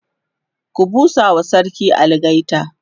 ku busawa sarki algaita!